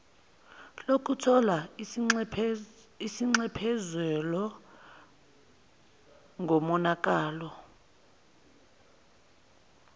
lokuthola isinxephezelo ngomonakalo